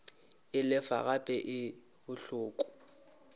e lefa gape e bohloko